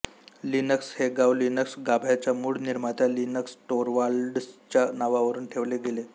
Linux हे नाव Linux गाभ्याच्या मूळ निर्मात्या लिनस टोरवाल्ड्सच्या नावावरून ठेवले गेले